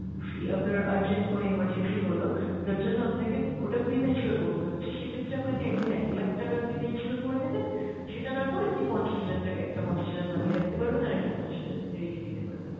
আপনার urgent কোনো emergency হল যার জন্য আপনাকে ওটা pre mature করতে হচ্ছে সেক্ষেত্রে আপনাকে একদম এক lakh টাকার premature করে নেবেন সেটা না করে আপনি পঞ্চাশ হাজার টাকা, একটা পঞ্চাশ হাজার ভাঙ্গিয়ে রাখতে পারবেন আর একটা পঞ্চাশ হাজার আপনি রেখে দিতে পারবেন।